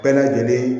Bɛɛ lajɛlen